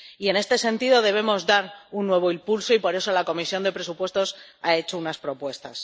Y en este sentido debemos dar un nuevo impulso, y por eso la Comisión de Presupuestos ha hecho unas propuestas.